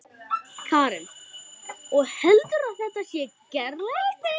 Karen: Og heldurðu að þetta sé gerlegt?